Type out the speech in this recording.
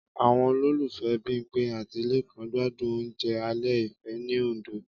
Àwọn olólùfẹ́ Bímpé àti Lékan gbádùn oúnjẹ alẹ́ ìfẹ́ ní Òndó